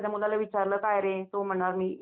तरी जातो अधूनमधून